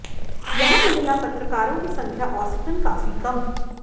यहाँ महिला पत्रकारों की संख्या औसतन काफी कम